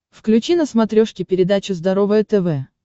включи на смотрешке передачу здоровое тв